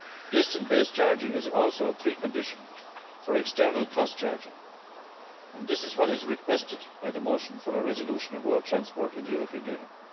Distance based charging is also a precondition for external cost charging, and this is what is requested by the motion for a resolution on road transport in the European Union.